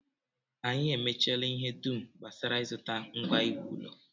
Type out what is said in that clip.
Anyị emechaala ihe dum gbasara ịzụta ngwa iwu ụlọ